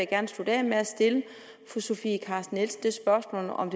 gerne slutte af med at stille fru sofie carsten nielsen det spørgsmål om